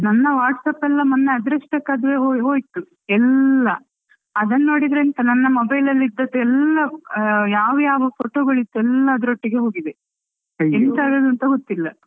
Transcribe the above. ನನ್ನ WhatsAppಎಲ್ಲ ಮೊನ್ನೆ ಅದೃಷ್ಟಕ್ಕೆ ಅದು ಅದು ಹೋ~ ಹೋಯ್ತು ಎಲ್ಲಾ ಅದನ್ನು ನೋಡಿದ್ರೆ ಎಂತ ನನ್ನ mobile ಇದ್ದದ್ದು ಎಲ್ಲಾ ಯಾವ ಯಾವ photo ಗಳಿತ್ತು ಅದೆಲ್ಲ ಅದ್ರೊಟ್ಟಿಗೆ ಹೋಗಿದೆ ಎಂತ ಆದದ್ದು ಅಂತ ಗೊತ್ತಿಲ್ಲ.